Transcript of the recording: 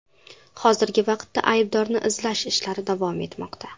Hozirgi vaqtda aybdorni izlash ishlari davom etmoqda.